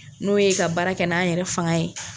N'o ye ka baara kɛ n'an yɛrɛ fanga ye.